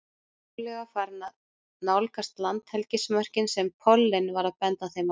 Trúlega farin að nálgast landhelgismörkin sem pollinn var að benda þeim á.